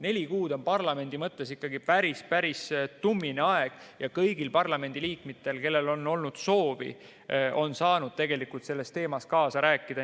Neli kuud on parlamendi mõttes ikkagi päris-päris tummine aeg ja kõik parlamendiliikmed, kellel on olnud soovi, on saanud tegelikult selles teemas kaasa rääkida.